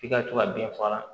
F'i ka to ka bin faga